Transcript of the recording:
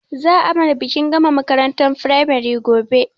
Za a mana bikin gama makarantar firamare gobe